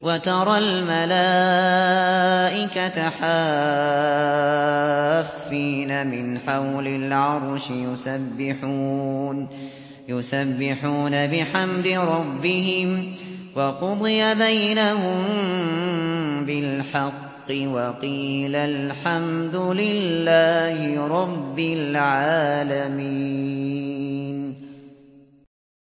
وَتَرَى الْمَلَائِكَةَ حَافِّينَ مِنْ حَوْلِ الْعَرْشِ يُسَبِّحُونَ بِحَمْدِ رَبِّهِمْ ۖ وَقُضِيَ بَيْنَهُم بِالْحَقِّ وَقِيلَ الْحَمْدُ لِلَّهِ رَبِّ الْعَالَمِينَ